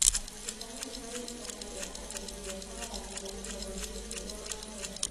Gachunjĩ kanini harĩ igana rĩa agendi mekoraga thĩna-inĩ bũrũri-inĩ ũrĩa macera